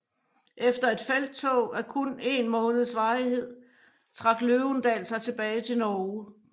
Efter et felttog af kun en måneds varighed trak Løvendal sig tilbage til Norge